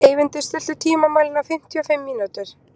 Eyvindur, stilltu tímamælinn á fimmtíu og fimm mínútur.